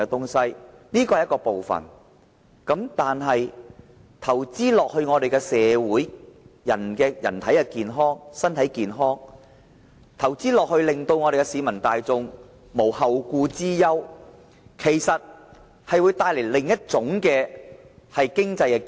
這是其中一個方法，但投資在社會和人民的健康，令市民大眾無後顧之憂，其實會帶來另一種經濟機遇。